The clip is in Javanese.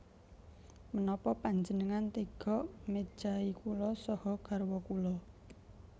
Menapa panjenengan tega mejahi kula saha garwa kula